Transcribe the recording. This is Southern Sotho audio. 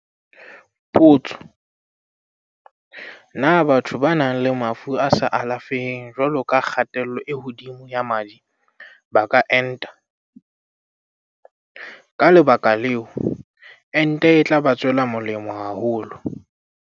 Potso- Na batho ba nang le mafu a sa alafeheng jwalo ka kgatello e hodimo ya madi ba ka enta? Ka le baka leo, ente e tla ba tswela molemo haholo.